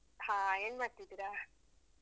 ಹಾ ಏನ್ ಮಾಡ್ತಿದ್ದೀರ?